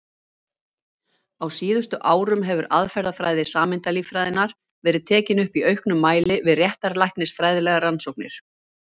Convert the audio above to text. Á síðustu árum hefur aðferðafræði sameindalíffræðinnar verið tekin upp í auknum mæli við réttarlæknisfræðilegar rannsóknir.